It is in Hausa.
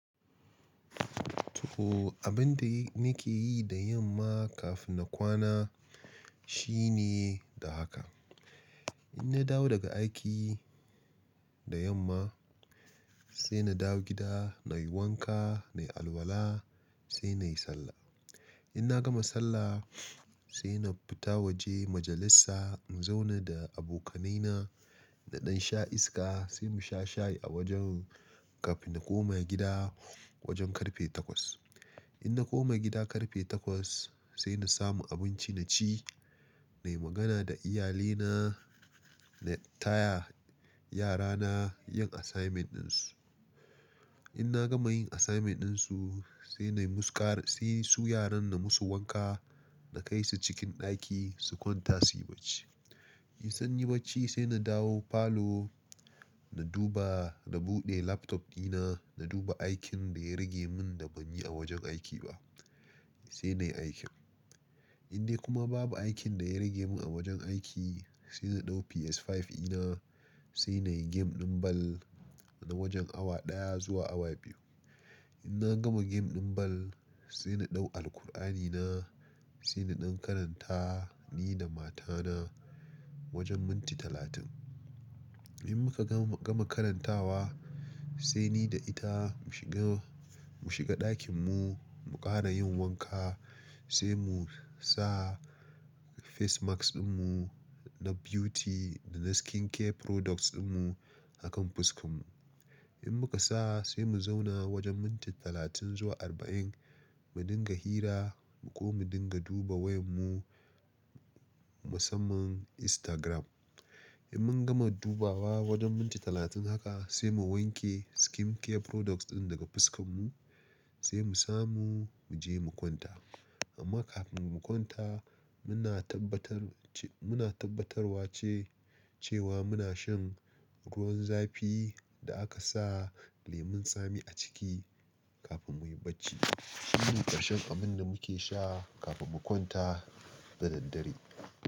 Toh, abin da nake yi da yamma kafin na kwana shine da haka. In na dawo daga aiki da yamma sai na dawo gida, na yi wanka, na yi alwala sai na yi sallah. In na gama sallah sai na fita waje majalisa in zauna da abokanaina na ɗan sha iska sai mu sha shayi a wajen kafin na koma gida wajen karfe takwas. In na koma gida karfe takwas sai na samu abinci na ci, na yi magana da iyalina, na taya yarana yin assignment ɗinsu. In na gama yin assignment ɗinsu sai na yi musu ƙara, sai su yaran na musu wanka, na kai su cikin ɗaki su kwanta su yi barci. In sun yi barci sai na dawo falo na duba, na buɗe laptop ɗina, na duba aikin da ya rage mun da ban yi a wajen aiki ba sai na yi aikin. In dai kuma babu aikin da ya rage mun a wajen aiki sai na ɗau PS5 ina sai na yi game ɗin ball na wajen awa ɗaya zuwa awa biyu. In na gama game ɗin ball sai na ɗau Alqur'ani na sai na ɗan karanta ni da matana wajen minti talatin. In muka gama, gama karantawa sai ni da ita mu shiga, mu shiga ɗakin mu, mu ƙara yin wanka sai mu sa face mask ɗinmu na beauty da na skincare products ɗinmu a kan fuskanmu. In muka sa sai mu zauna wajen minti talatin zuwa arba'in mu dinga hira ko mu dinga duba wayanmu musamman Instagram. In mun gama dubawa wajen minti talatin haka sai mu wanke skincare products ɗin daga fuskanmu sai mu samu mu je mu kwanta. Amma kaf mun kwanta muna tabbatar ce, muna tabbatarwa ce cewa muna shan ruwan zafi da aka sa lemon tsami a ciki kafin muyi barci. Shi ne ƙarshen abin da muke sha kafin mu kwanta da daddare.